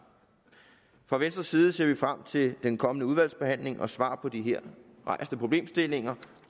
fra venstres side ser vi frem til den kommende udvalgsbehandling og svar på de her rejste problemstillinger